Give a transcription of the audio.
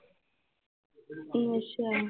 ਅੱਛਾ।